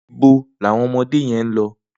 Nibó ni awọn ọmọdé yèn n lọ?